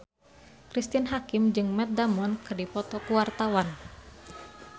Cristine Hakim jeung Matt Damon keur dipoto ku wartawan